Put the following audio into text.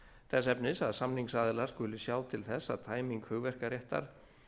þess efnis að samningsaðilar skuli sjá til þess að tæming hugverkaréttar